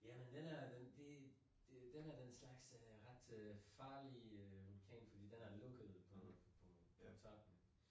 Ja men den er den det den af den slags er en ret farlig øh vulkan fordi den er lukket på på på toppen